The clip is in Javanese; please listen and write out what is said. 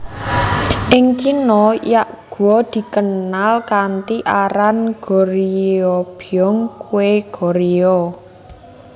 Ing Cina yakgwa dikenal kanthi aran Goryeobyeong kue Goryeo